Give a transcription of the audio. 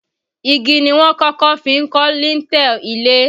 Igi ni wọ́n kọ́kọ́ fi ń kan lintel ilé